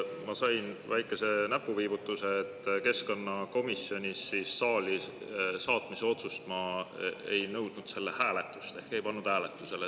Ma sain väikese näpuviibutuse, et keskkonnakomisjonis saali saatmise otsuse puhul ma ei nõudnud selle hääletust ehk ei pannud hääletusele.